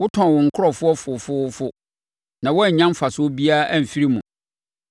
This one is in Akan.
Wotɔn wo nkurɔfoɔ fofoofo, na woannya mfasoɔ biara amfiri mu.